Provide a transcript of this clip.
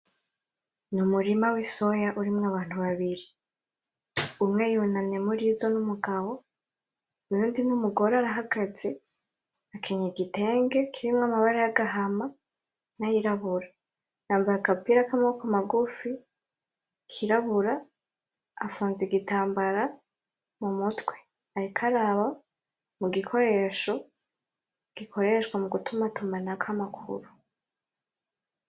Umurima w'Isoya urimwo Abantu babiri. Umwe yunamye murizo n'Umugabo uyundi n'Umugore arahagaze akenyeye igitenge kirimwo amabara yagahama nayirabura yambaye agapira kamaboko magufi kirabura afunze igitambara mumutwe. ariko araba mugikoresho gikoreshwa mugutumatumanako Amakuru.